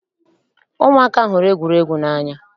Ụmụaka hụrụ egwuregwu n'anya.